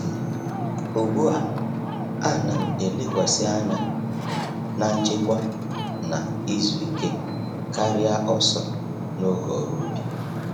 Ugbu a,a na'm elekwasị anya na nchekwa na izu ike karịa ọsọ n'oge n’ọrụ ubi.